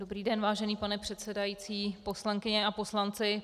Dobrý den, vážený pane předsedající, poslankyně a poslanci.